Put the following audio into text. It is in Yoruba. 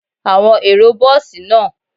Awọn ero bọọsi naa